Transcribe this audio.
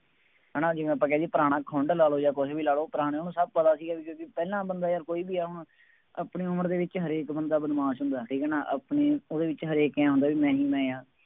ਹੈ ਨਾ ਜਿਵੇਂ ਆਪਾਂ ਕਹਿ ਦੇਈਏ, ਪੁਰਾਣਾ ਖੁੰਡ ਲਾ ਲ਼ਉ ਜਾਂ ਕੁੱਛ ਵੀ ਲਾ ਲਉ, ਪੁਰਾਣੇ ਉਹਨੂੰ ਸਭ ਪਤਾ ਸੀਗਾ ਬਈ ਪਹਿਲਾਂ ਬੰਦਾ ਯਾਰ ਕੋਈ ਵੀ ਆ, ਆਪਣੀ ਉਮਰ ਦੇ ਵਿੱਚ ਹਰੇਕ ਬੰਦਾ ਬਦਮਾਸ਼ ਹੁੰਦਾ, ਠੀਕ ਹੈ ਨਾ, ਆਪਣੀ ਉਹਦੇ ਵਿਚ ਹਰੇਕ ਹੀ ਆਂਏਂ ਹੁੰਦਾ ਬਈ ਮੈਂ ਹੀ ਮੈ ਹਾਂ